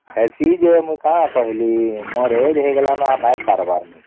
ହେଇସି ଯେ ମୁଇ କଣ କହିଲି ମୋର age ହେଇଗଲାଣି ନ ନାଇଁ ପାରିବାର